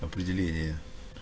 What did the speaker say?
определение